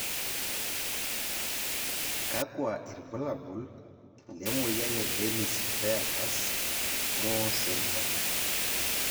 kakua irbulabol le moyian e Dennis Fairhurst Moore syndrome?